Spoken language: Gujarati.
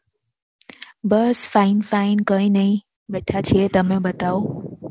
બસ Fine Fine કઈ નઈ બેઠા છીએ તમે બતાવો